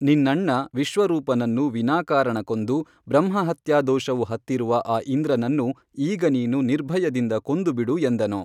ನಿನ್ನಣ್ಣ ವಿಶ್ವ ರೂಪನನ್ನು ವಿನಾಕಾರಣ ಕೊಂದು ಬ್ರಹ್ಮಹತ್ಯಾ ದೋಷವು ಹತ್ತಿರುವ ಆ ಇಂದ್ರನನ್ನು ಈಗ ನೀನು ನಿರ್ಭಯದಿಂದ ಕೊಂದುಬಿಡು ಎಂದನು